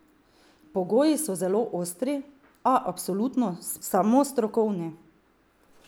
Pogoji so zelo ostri, a absolutno samo strokovni.